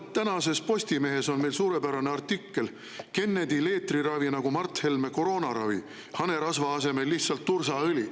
No tänases Postimehes on meil suurepärane artikkel "Kennedy leetriravi nagu Mart Helme koroonaravi – hanerasva asemel lihtsalt tursaõli".